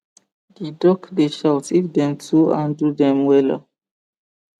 the duck dey shout if dem to handle dem wella